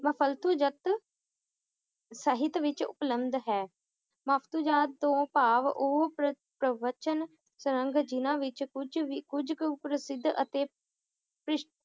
ਜਤ ਸਹਿਤ ਵਿਚ ਉਪਲੰਧ ਹੈ ਜਤ ਤੋਂ ਭਾਵ ਉਹ ਪਰ~ ਪ੍ਰਵਚਨ ਜਿਹਨਾਂ ਵਿਚ ਕੁੱਝ ਵੀ ਕੁੱਝ ਕੁ ਪ੍ਰਸਿੱਧ ਅਤੇ ਭਿਸ਼~